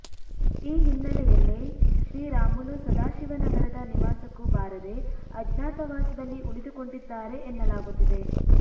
ಈ ಹಿನ್ನೆಲೆಯಲ್ಲಿ ಶ್ರೀರಾಮುಲು ಸದಾಶಿವನಗರದ ನಿವಾಸಕ್ಕೂ ಬಾರದೇ ಅಜ್ಞಾತವಾಸದಲ್ಲಿ ಉಳಿದುಕೊಂಡಿದ್ದಾರೆ ಎನ್ನಲಾಗುತ್ತಿದೆ